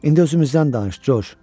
İndi özümüzdən danış, Corc.